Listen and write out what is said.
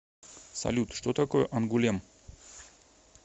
салют что такое ангулем